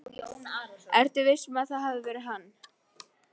Ertu viss um að það hafi verið hann?